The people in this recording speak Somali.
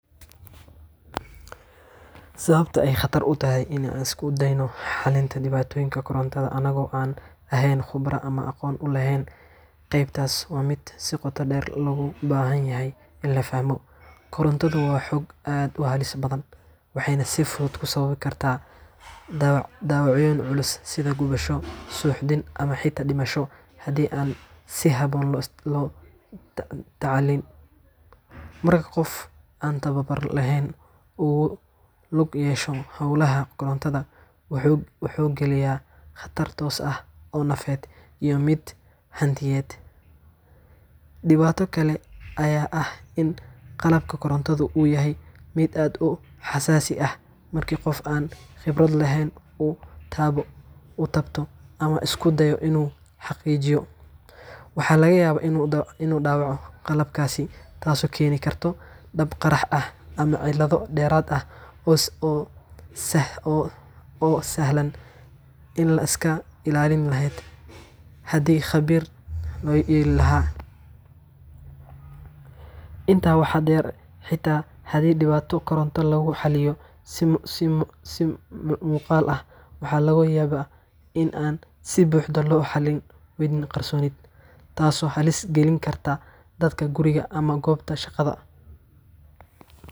Sababta ay khatar u tahay in aan isku dayno xalinta dhibaatooyinka korontada annagoo aan ahayn khubaro ama aqoon u lahayn qaybtaas waa mid si qoto dheer loogu baahan yahay in la fahmo. Korontadu waa xoog aad u halis badan, waxayna si fudud u sababi kartaa dhaawacyo culus sida gubasho, suuxdin, ama xitaa dhimasho haddii aan si habboon loola tacaalin. Marka qof aan tababar lahayn uu ku lug yeesho hawlaha korontada, wuxuu gelayaa khatar toos ah oo nafeed iyo mid hantiyeedba. Dhibaato kale ayaa ah in qalabka korontadu uu yahay mid aad u xasaasi ah, marka qof aan khibrad lahayn uu taabto ama isku dayo inuu hagaajiyo, waxaa laga yaabaa inuu dhaawaco qalabkaas, taasoo keeni karta dab, qarax, ama cillad dheeraad ah oo sahlan in la iska ilaalin lahaa haddii khabiir loo yeeri lahaa. Intaa waxaa dheer, xitaa haddii dhibaato koronto lagu xalliyo si muuqaal ah, waxa laga yaabaa in aan si buuxda loo xalin waxyeelladii qarsoonayd, taasoo halis gelin karta dadka guriga ama goobta shaqada.